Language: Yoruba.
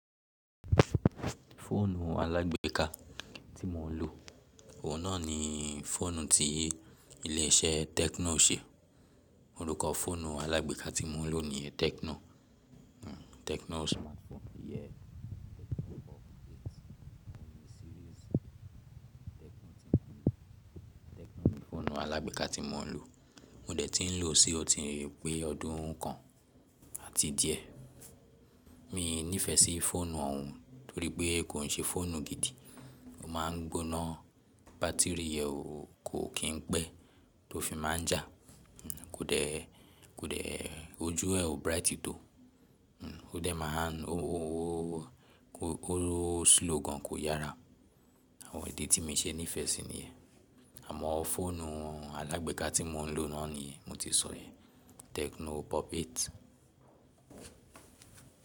Fóònù alágbéka tí mò ń lò, òun náà ni fọ́ònù tí ilé iṣẹ́ Tecno ṣe. Orúkọ fọ́ònù alágbéka tí mò ń lò ní Tecno, Tecno. Fọ́ònù alágbéka tí mò ń lò, mo dẹ̀ ti ń lò ó tí pẹ́ ọdún kan àti díẹ̀. Mi nífẹ̀ẹ́ sí fọ́ònù òun torí pé kò ń ṣe fọ́ònù gidi. Ó máa ń gbóná bátìrì rẹ̀ ó kò kín pẹ́ tó fi máa jà. Kóde, kóde ojú ẹ̀ o bright to. Ó dẹ̀ máa ń, ó, ó, ó, ó lọ slow gan kò yára. Àwọn èdè tí mi ṣe nífẹ̀ẹ́ sí ni ẹ. Àmọ́ fọ́ònù alágbéka tí mò ń lò náà ni mo ti sọ yen Tecno Pop 8.